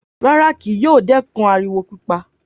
Rárá, kì yóò dẹ́kun ariwo pípa